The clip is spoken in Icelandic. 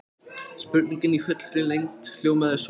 Spurningin í fullri lengd hljómaði svona: